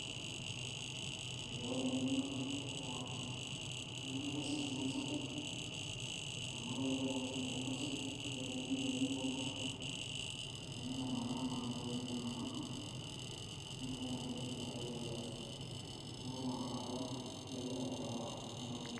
ore eng'eno naata naipirta erewata embasikil naa aisapuk amu kelelek oleng erewata embasikil iked ake nitonie ilo orika nintamanaa naa kuna tokitin namanaa niutaki embasikil enkoitoi basi neeku naa inakata kajo ayiolou aterewa ena toki.